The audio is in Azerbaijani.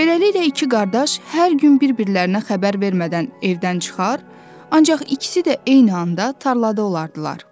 Beləliklə iki qardaş hər gün bir-birlərinə xəbər vermədən evdən çıxar, ancaq ikisi də eyni anda tarlada olardılar.